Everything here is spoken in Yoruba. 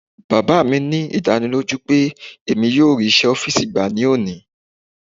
Baba mi ní ìdánilójú pé emi yóò rí iṣẹ́ ọ́fìsì gbà ní òní.